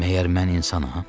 Məyər mən insanam?